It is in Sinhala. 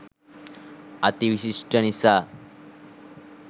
අති විශිෂ්ඨ නිසා.